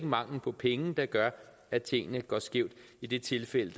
mangel på penge der gør at tingene går skævt i det tilfælde